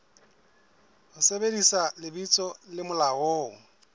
ho sebedisa lebitso le molaong